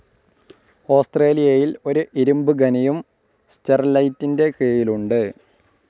ഓസ്‌ട്രേലിയയിൽ ഒരു ഇരുമ്പ് ഖനിയും സ്റ്റെർലൈറ്റിൻ്റെ കീഴിലുണ്ട്.